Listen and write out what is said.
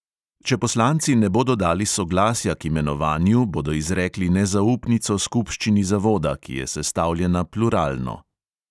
Če poslanci ne bodo dali soglasja k imenovanju, bodo izrekli nezaupnico skupščini zavoda, ki je sestavljena pluralno.